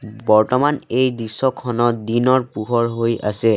বৰ্তমান এই দৃশ্যখনত দিনৰ পোহৰ হৈ আছে।